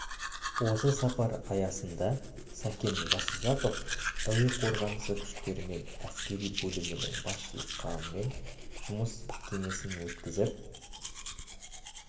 осы сапар аясында сәкен жасұзақов әуе қорғанысы күштері мен әскери бөлімнің басшылық құрамымен жұмыс кеңесін өткізіп